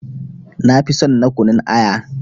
Nafi son na kunun aya.